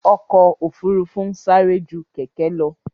Ọkò òfurufú ń sárẹ́ jú kẹ̀kẹ́ lọ.